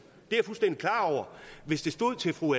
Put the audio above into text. hvis det stod til fru